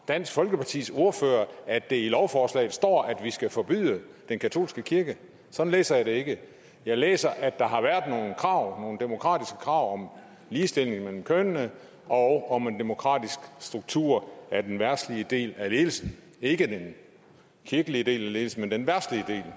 dansk folkepartis ordfører at det i lovforslaget står at vi skal forbyde den katolske kirke sådan læser jeg det ikke jeg læser at der har været nogle krav nogle demokratiske krav om ligestilling mellem kønnene og om en demokratisk struktur af den verdslige del af ledelsen ikke den kirkelige del af ledelsen men den verdslige del